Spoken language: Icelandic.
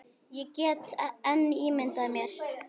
Ég get enn ímyndað mér!